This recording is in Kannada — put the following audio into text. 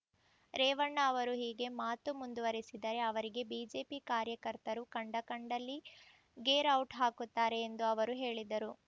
ರೇವಣ್ಣ ಅವರು ಹೀಗೆ ಮಾತು ಮುಂದುರೆಸಿದರೆ ಅವರಿಗೆ ಬಿಜೆಪಿ ಕಾರ್ಯಕರ್ತರು ಕಂಡ ಕಂಡಲ್ಲಿ ಗೇರ್ಔಟ್ ಹಾಕುತ್ತಾರೆ ಎಂದು ಅವರು ಹೇಳಿದರು